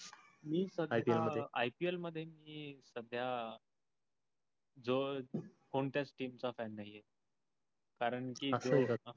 मी IPL मधे मी सद्या जो कोणत्या team च fan नाही आहे. कारण कि